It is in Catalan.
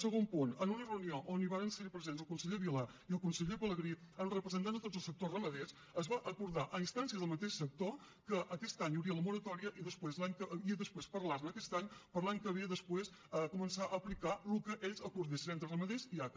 segon punt en una reunió on van ser presents el conseller vila i el conseller pelegrí amb representants de tots els sectors ramaders es va acordar a instància del mateix sector que aquest any hi hauria la moratòria i després parlar ne aquest any per l’any que ve després començar a aplicar el que ells acordessin entre ramaders i aca